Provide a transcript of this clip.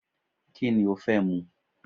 Kíni o fẹ́ mu